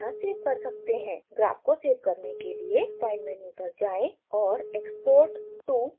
graph को save करने के लिए file मेन्यू पर जाएँ और export to विकल्प पर क्लिक करें